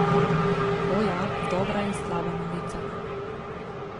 O, ja, dobra in slaba novica.